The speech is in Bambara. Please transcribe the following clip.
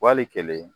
Wali kelen